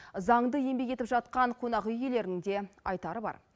заңды еңбек етіп жатқан қонақүй иелерінің де айтары бар